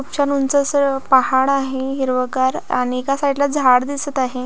खुप छान ऊंच अस पहाड आहे हिरवगार आणि एका साइड ला झाड दिसत आहे.